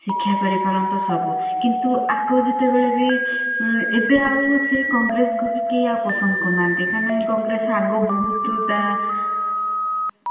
ଶିକ୍ଷା କରି ପାରନ୍ତ ସବୁ କିନ୍ତୁ ୟାକୁ ଜେତବେଳେ ବି ଏବେ ଆଉ ସେ congress କୁ ବି କେହି ଆଉ ପସନ୍ଦ କରୁନାହାନ୍ତି କାହିଁକି ନା congress ର ଆଗ ବହୁତ୍ ତା